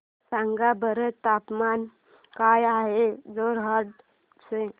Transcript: सांगा बरं तापमान काय आहे जोरहाट चे